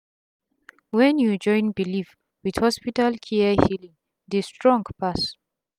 wen u join belief with hospital care healing dey strong pass